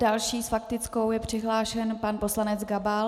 Další s faktickou je přihlášen pan poslanec Gabal.